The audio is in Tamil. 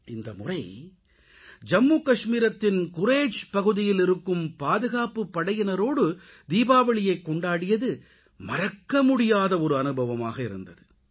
இந்தமுறை ஜம்முகாஷ்மீரின் குரேஜ் பகுதியில் இருக்கும் பாதுகாப்புப்படையினரோடு தீபாவளியைக்கொண்டாடியது மறக்கமுடியாத அனுபவமாக இருந்தது